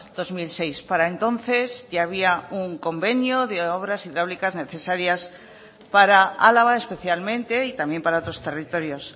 dos mil seis para entonces ya había un convenio de obras hidráulicas necesarias para álava especialmente y también para otros territorios